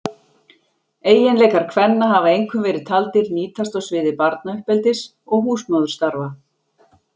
Eiginleikar kvenna hafa einkum verið taldir nýtast á sviði barnauppeldis og húsmóðurstarfa.